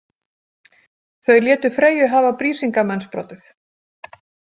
Þau létu Freyju hafa Brísingamensbrotið.